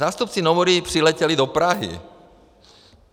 Zástupci Nomury přiletěli do Prahy.